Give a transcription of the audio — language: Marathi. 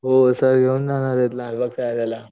हो सर घेऊन जाणारेत लालबागच्या राजाला.